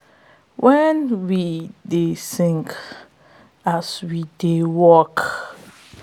wen we dey sing as we dey work de farm dey become a stage and joy dey become harvest